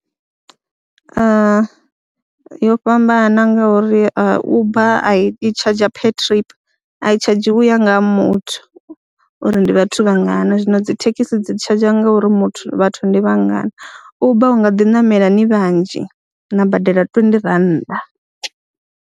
Yo fhambana ngauri Uber i tshazha per trip a i tshadzhi u ya nga ha muthu uri ndi vhathu ndi vha ngana zwino dzi thekhisi dzi tshadzha ngauri muthu vhathu ndi vha ngana, Uber u nga ḓi ṋamela ni vhanzhi na badela twendi rannda.